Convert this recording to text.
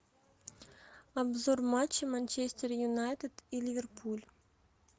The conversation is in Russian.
обзор матча манчестер юнайтед и ливерпуль